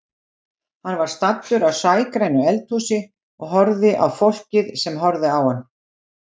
Hann var staddur í sægrænu eldhúsi og horfði á fólkið sem horfði á hann.